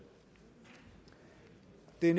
det